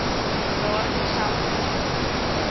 daardie geld betrokke